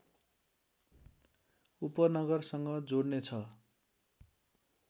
उपनगरसँग जोड्ने छ